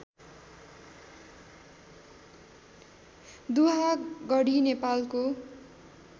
दुहागडी नेपालको